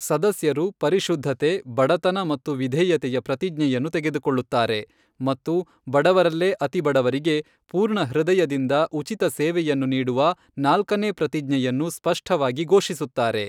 ಸದಸ್ಯರು ಪರಿಶುದ್ಧತೆ, ಬಡತನ ಮತ್ತು ವಿಧೇಯತೆಯ ಪ್ರತಿಜ್ಞೆಯನ್ನು ತೆಗೆದುಕೊಳ್ಳುತ್ತಾರೆ ಮತ್ತು ಬಡವರಲ್ಲೇ ಅತಿಬಡವರಿಗೆ ಪೂರ್ಣ ಹೃದಯದಿಂದ ಉಚಿತ ಸೇವೆಯನ್ನು ನೀಡುವ ನಾಲ್ಕನೇ ಪ್ರತಿಜ್ಞೆಯನ್ನು ಸ್ಪಷ್ಟವಾಗಿ ಘೋಷಿಸುತ್ತಾರೆ.